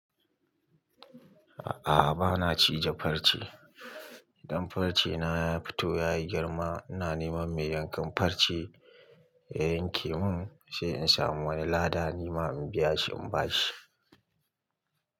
A'a ba na cije farce. Idan farce na ya fito ya yi girma, ina neman mai yankan farce ya yanke mun sai in samu wani lada nima in biya shi in ba shi.